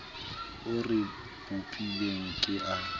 o re bopileng ke a